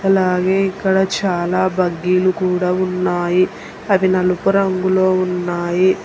అలాగే ఇక్కడ చాలా బగ్గీలు కూడా ఉన్నాయి అవి నలుపు రంగులో ఉన్నాయి.